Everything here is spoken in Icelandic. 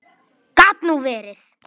Gat nú verið!